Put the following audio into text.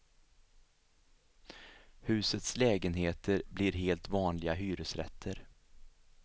Husets lägenheter blir helt vanliga hyresrätter.